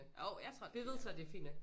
Jo jeg tror det er fint nok